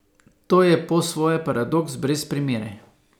To je po svoje paradoks brez primere.